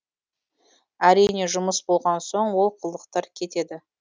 әрине жұмыс болған соң олқылықтар кетеді